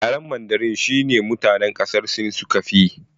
Yaren mandarin shine mutane ƙasar sin suka fiyi